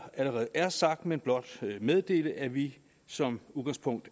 allerede er sagt men blot meddele at vi som udgangspunkt